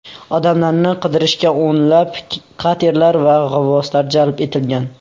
Odamlarni qidirishga o‘nlab katerlar va g‘avvoslar jalb etilgan.